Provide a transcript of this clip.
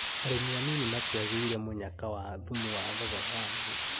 Arĩmi anini matiagĩire mũnyaka wa thumu wa thogora wa thĩ